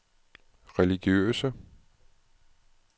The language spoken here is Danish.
religiøse